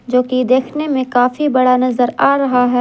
जो कि देखने में काफी बड़ा नजर आ रहा है।